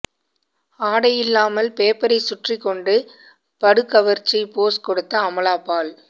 ஆடையில்லாமல் பேப்பரை சுற்றிக் கொண்டு படுகவர்ச்சி போஸ் கொடுத்த அமலா பால்